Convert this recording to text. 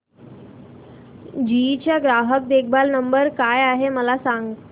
GE चा ग्राहक देखभाल नंबर काय आहे मला सांग